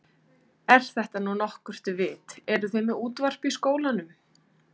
Er þetta nú nokkurt vit. eruð þið með útvarp í skólanum?